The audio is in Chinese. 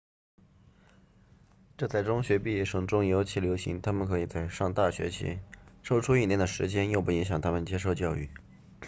这在中学毕业生中尤其流行他们可以在上大学前抽出一年的时间又不影响他们接受教育